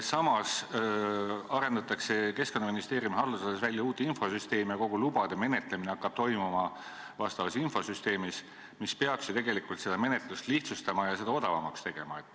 Samas arendatakse Keskkonnaministeeriumi haldusalas välja uut infosüsteemi ja kogu lubade menetlemine hakkab toimuma selles, mis peaks ju tegelikult menetlust lihtsustama ja seda odavamaks tegema.